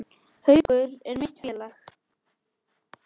Haukar eru mitt félag.